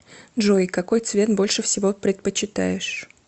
джой какой цвет больше всего предпочитаешь